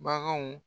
Baganw